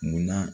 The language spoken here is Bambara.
Munna